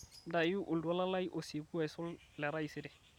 ntayu oltuala lai osieku aisul letaisere